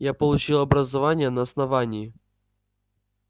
я получил образование на основании